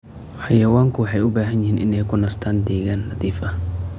Xayawaanku waxay u baahan yihiin inay ku nastaan ??deegaan nadiif ah.